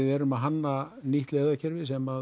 erum að hanna nýtt leiðarkerfi sem